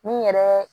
Ni yɛrɛ